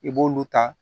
I b'olu ta